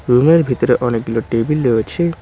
রুমের ভিতরে অনেকগুলো টেবিল রয়েছে।